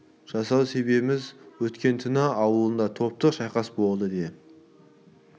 жасау себебіміз өткен күні ауылында таптық шайқас болды де